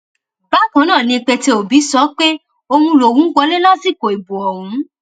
bákan náà ni pété obi sọ pé òun lòún wọlé lásìkò ìbò ọhún